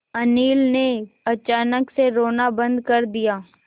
अनिल ने अचानक से रोना बंद कर दिया